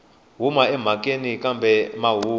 u huma emhakeni kambe mahungu